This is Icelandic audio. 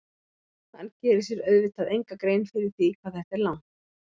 Hann gerir sér auðvitað enga grein fyrir því hvað þetta er langt.